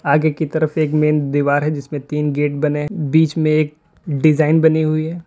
आगे की तरफ एक मेन दीवार है जिसमें तीन गेट बने हैं बीच में एक डिजाइन बनी हुई है।